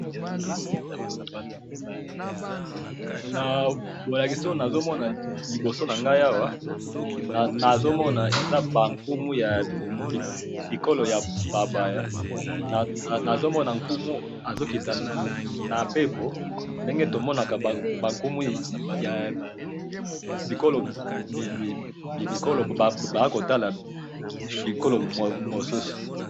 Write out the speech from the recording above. na bolakisi oyo nazo mona liboso na ngai awa, nazo mona eza ba nkumu ya bikolo ya bapaya, nazo mona nkumu azo kita na pepo, ndenge to monaka ba nkumu ya bikolo baya kotala bikolo mosusu